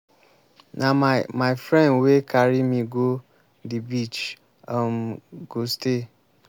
na my my friend wey carry me go the beach um go stay.